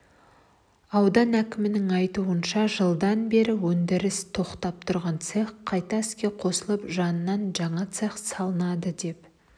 аудан әкімінің айтуынша жылданбері өндірісі тоқтап тұрған цех қайта іске қосылып жанынан жаңа цех салынады деп